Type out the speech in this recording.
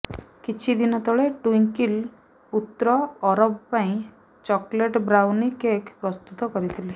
କିଛି ଦିନ ତଳେ ଟ୍ୱିଙ୍କଲ ପୁତ୍ର ଅରବ ପାଇଁ ଚକଲେଟ ବ୍ରାଉନି କେକ୍ ପ୍ରସ୍ତୁତ କରିଥିଲେ